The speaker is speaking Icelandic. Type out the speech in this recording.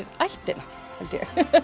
ættina held ég